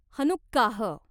Hanukkah